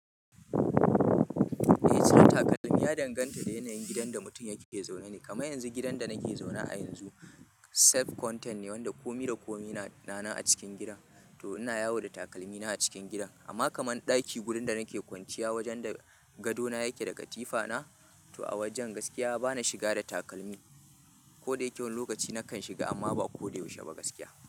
Eh sa takalmin ya danganta da yanayin gidan da mutum yake zaune ne. Kamar yanzu gidan da nake zaune a yanzu self-contained ne wanda kome da kome na nan a cikin gidan, to ina yawo da takalmi na a cikin gidan. Amma kaman ɗaki wurin da nake kwanciya wajen da gado na yake da katifa na, to a wajen gaskiya bana shiga da takalmi. Koda yake wani lokaci nakan shiga amma ba koda yaushe ba gaskiya.